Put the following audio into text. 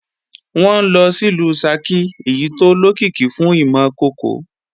Wọn ńlọ sìlú Ṣakí èyí tó lókìkí fún ìmọ̀ kòkò